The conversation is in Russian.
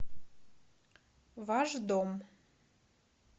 ваш дом